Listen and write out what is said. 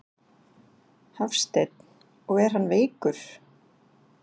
Hafsteinn: Og er hann veikur?